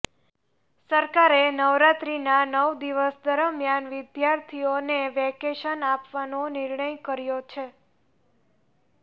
સરકારે નવરાત્રીના નવ દિવસ દરમિયાન વિદ્યાર્થીઓને વેકેશન આપવાનો નિર્ણય કર્યો છે